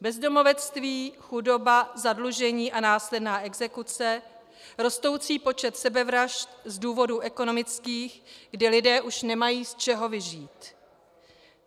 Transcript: Bezdomovectví, chudoba, zadlužení a následná exekuce, rostoucí počet sebevražd z důvodů ekonomických, kdy lidé už nemají z čeho vyžít.